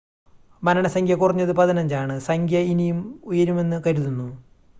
മരണസംഖ്യ കുറഞ്ഞത് 15 ആണ് സംഖ്യ ഇനിയും ഉയരുമെന്ന് കരുതുന്നു